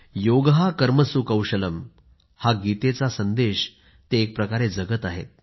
योगः कर्मसु कौशलम् गीतेचा हा संदेश ते एकप्रकारे प्रत्यक्ष जगत आहेत